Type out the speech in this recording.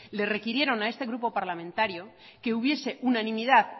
le requirieron a este grupo parlamentario que hubiese unanimidad